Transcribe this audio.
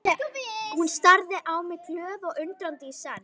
Hún starði á mig glöð og undrandi í senn.